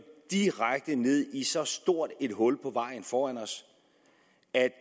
direkte ned i så stort et hul på vejen foran os at